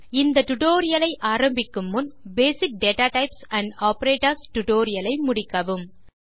இந்த டியூட்டோரியல் ஐ ஆரம்பிக்கும் முன் பேசிக் டேட்டாடைப்ஸ் மற்றும் operatorsடுடோரியலை முடிக்கவும்